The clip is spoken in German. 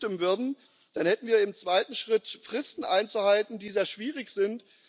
Wenn wir dem zustimmen würden, dann hätten wir im zweiten Schritt Fristen einzuhalten, die sehr schwierig sind.